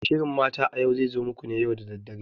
Shirin Mata a Yau zai zo muku ne da dare.